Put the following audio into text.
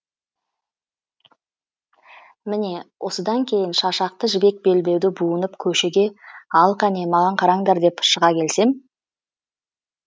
міне осыдан кейін шашақты жібек белбеуді буынып көшеге ал қане маған қараңдар деп шыға келсем